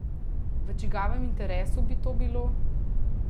V čigavem interesu bi to bilo?